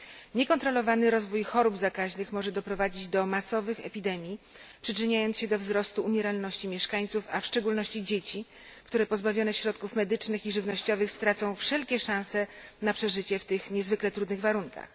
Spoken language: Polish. Niekontrolowany rozwój chorób zakaźnych może doprowadzić do masowych epidemii, przyczyniając się do wzrostu umieralności mieszkańców, a w szczególności dzieci, które pozbawione środków medycznych i żywnościowych stracą wszelkie szanse na przeżycie w tych niezwykle trudnych warunkach.